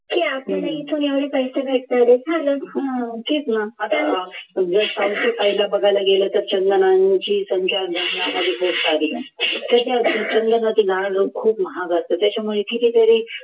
की आपल्याला इथून एवढे पैसे भेटणार आहेत झालं चंदनांची संख्या जंगलामध्ये खूप सारे आहे चंदनाचे झाड खूप महाग असतं त्याच्यामुळे कितीतरी